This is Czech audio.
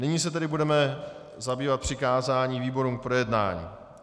Nyní se tedy budeme zabývat přikázáním výborům k projednání.